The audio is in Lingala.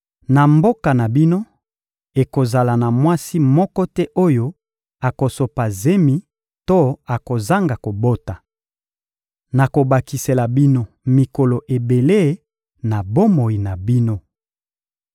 Na mboka na bino, ekozala na mwasi moko te oyo akosopa zemi to akozanga kobota. Nakobakisela bino mikolo ebele na bomoi na bino.